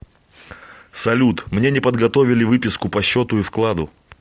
салют мне не подготовили выписку по счету и вкладу